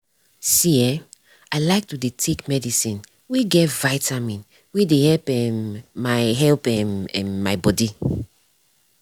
see eh i like to dey take medicine wey get vitamin wey dey help um my help um my body.